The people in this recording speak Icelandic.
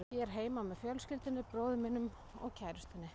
Ég er heima með fjölskyldunni, bróður mínum og kærustunni.